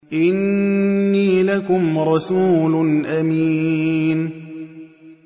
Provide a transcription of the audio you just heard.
إِنِّي لَكُمْ رَسُولٌ أَمِينٌ